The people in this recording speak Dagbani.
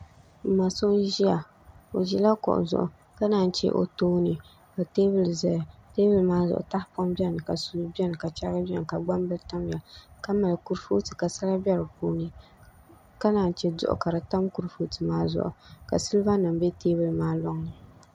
N ma so n ʒiya o ʒila kuɣu zuɣu o tooni ka teebuli ʒɛya teebuli maa zuɣu tahapoŋ bɛni ka suu bɛni ka chɛrigi bɛni ka gbambili tamya ka mali kurifooti ka sala bɛ di puuni ka naan chɛ duɣu ka di tam kurifooti maa zuɣu ka silba nim bɛ teebuli maa loŋni